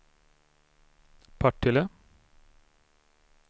Partille